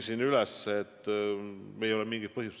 Selleks ei ole mingit põhjust.